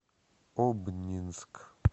обнинск